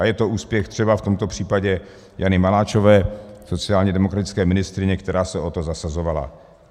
A je to úspěch třeba v tomto případě Jany Maláčové, sociálně demokratické ministryně, která se o to zasazovala.